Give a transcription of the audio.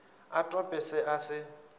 a tope se a se